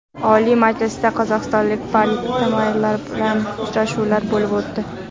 Oliy Majlisda qozog‘istonlik parlamentariylar bilan uchrashuvlar bo‘lib o‘tdi.